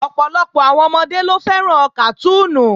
Ọ̀pọ̀lọpọ̀ àwọn ọmọdé ló fẹ́ràn kàtúùnù